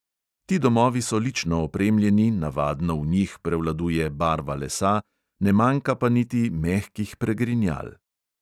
Ti domovi so lično opremljeni, navadno v njih prevladuje barva lesa, ne manjka pa niti mehkih pregrinjal.